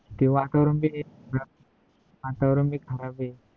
ते वातावरण भी वातावरण खराब आहे